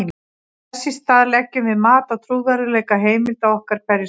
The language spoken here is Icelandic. þess í stað leggjum við mat á trúverðugleika heimilda okkar hverju sinni